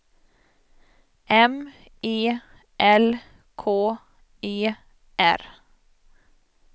M E L K E R